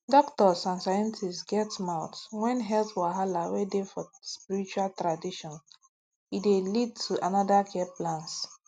doktors and scientists get mouth when health wahala wey dey for spiritual traditions e dey lead to another care plans